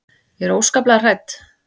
Ég er óskaplega hrædd.